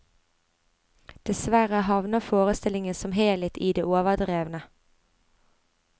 Dessverre havner forestillingen som helhet i det overdrevne.